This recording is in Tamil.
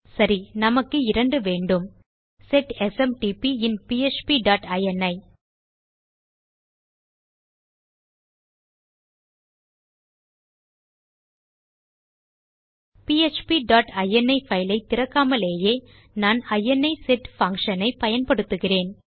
சரி நமக்கு 2 வேண்டும் set SMTP in PHP dot ini PHP dot ini file ஐ திறக்கமலேயே நான் இனி செட் பங்ஷன் ஐ பயன்படுத்துகிறேன்